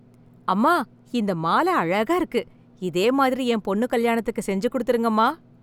அம்மா இந்த மால அழகா இருக்கு, இதே மாதிரி என் பொண்ணு கல்யாணத்துக்கு செஞ்சு கொடுத்துடுங்கம்மா.